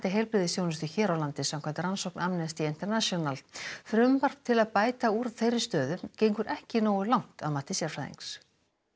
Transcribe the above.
heilbrigðisþjónustu hér á landi samkvæmt rannsókn Amnesty International frumvarp til að bæta úr þeirri stöðu gengur ekki nógu langt að mati sérfræðings